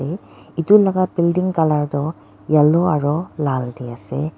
aru etu laga building colour tu yellow aru lal te ase.